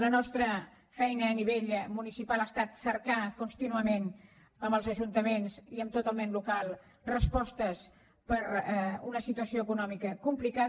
la nostra feina a nivell municipal ha estat cercar contínuament amb els ajuntaments i amb tot el món local respostes per a una situació econòmica complicada